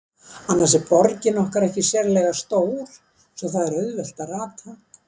Annars er borgin okkar ekki sérlega stór, svo það er auðvelt að rata.